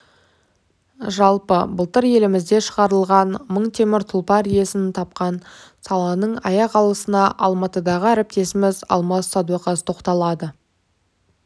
жалпы былтыр елімізде шығарылған мың темір тұлпар иесін тапқан саланың аяқалысына алматыдағы әріптесіміз алмас садуақас тоқталады